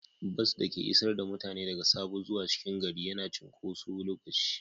Bas da ke isar da mutane daga Sabo zuwa cikin gari yana cunkoso lokaci.